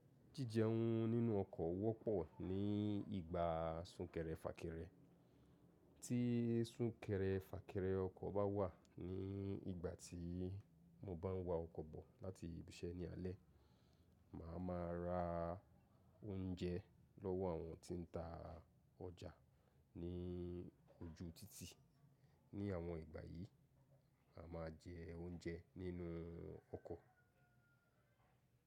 Jíjeun nínú ọkọ̀ wọ́pọ̀ ní ìgbà súnkẹrẹ fàkẹrẹ. Tí súnkẹrẹ fàkẹrẹ ọkọ̀ bá wà ní ìgbà tí mo bá ń wa ọkọ̀ bọ̀ láti ibi iṣẹ́ ní alẹ́, màá ma ra oúnjẹ lọ́wọ́ àwọn tí ń ta ọjà ní ojú títì. Ni àwọn ìgbà yìí, a máa jẹ oúnjẹ nínú ọkọ̀.